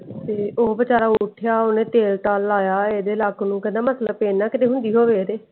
ਤੇ ਉਹ ਵਿਚਾਰ ਉਠਿਆ ਓਹਨੇ ਤੇਲ ਤਾਲ ਲਾਯਾ ਹਿੰਦੀ ਲੱਤ ਨੂੰ ਤੇ ਕਹਿੰਦਾ ਮਤੇ pain ਨਾ ਹੁੰਦੀ ਹੋਵੇ ਇਹਦੇ।